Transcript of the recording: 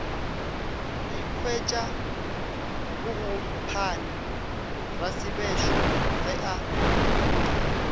ikhwiša bogompane rasebešo ge a